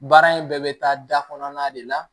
Baara in bɛɛ bɛ taa da kɔnɔna de la